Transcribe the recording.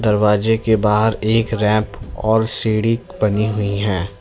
दरवाजे के बाहर एक रेप और सीढ़ी बनी हुई है।